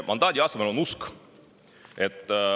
Mandaadi asemel on usk.